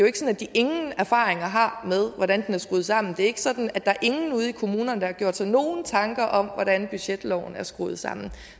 ingen erfaringer har med hvordan den er skruet sammen det er ikke sådan at der er ingen ude i kommunerne der har gjort sig nogle tanker om hvordan budgetloven er skruet sammen